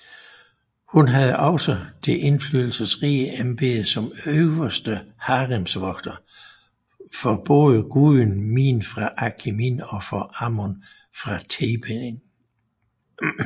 Hun havde også det indflydelsesrige embede som Øverste haremsvogter for både guden Min fra Akhmin og for Amon fra Theben